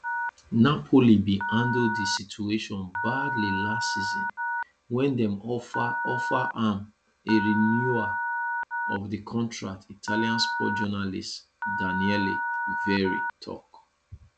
napoli bin handle di situation badly last season wen dem offer offer am a renewal of di contract italian sports journalist daniele verri tok